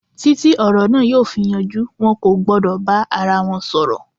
Títí ọ̀rọ̀ na yóò fi yanjú, wọn kò gbọ́dọ̀ bá ara wọn sọ̀rọ̀.